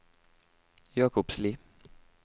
Jakobsli